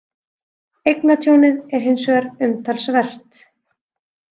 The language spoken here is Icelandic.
Eignatjónið er hins vegar umtalsvert